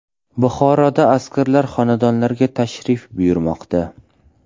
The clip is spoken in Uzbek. Buxoroda askarlar xonadonlarga tashrif buyurmoqda .